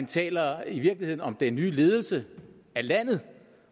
taler om den nye ledelse af landet